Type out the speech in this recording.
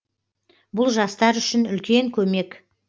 бұл жастар үшін үлкен көмек